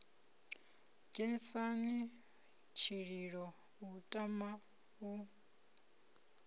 sedzheni tshililo u tama u